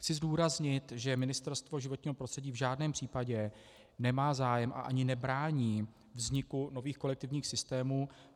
Chci zdůraznit, že Ministerstvo životního prostředí v žádném případě nemá zájem a ani nebrání vzniku nových kolektivních systémů.